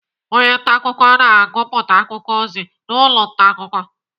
Onye ntaakụkọ na-agụpụta akụkọ ozi n'ụlọ ntaakụkọ.